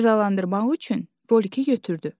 Cəzalandırmaq üçün rolikini götürdü.